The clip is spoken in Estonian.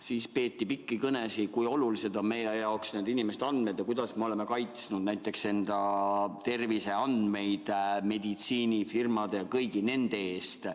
Siis peeti pikki kõnesid, kui olulised on meie jaoks inimeste andmed ja kuidas me oleme kaitsnud näiteks enda terviseandmeid meditsiinifirmade ja kõigi eest.